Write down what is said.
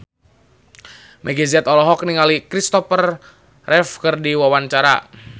Meggie Z olohok ningali Christopher Reeve keur diwawancara